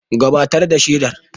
Gabatar da shaidar.